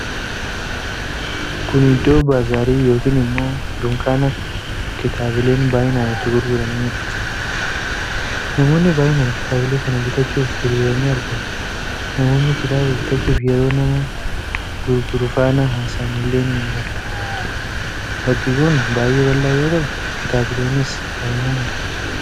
Kun iddoo baazaarii yookiin immoo dunkaana kitaabileen baay'inaan itti gurguramanidha. namoonni baay'inaan kitaabilee kan bitachuuf hiriiranii argamu. Namoonni kitaaba bitachuuf yeroo nama gurguru faana haasa'an illee ni mul'ata. Bakki kun baay'ee bal'aa yoo ta'u kitaabileenis baay'inaan argamu.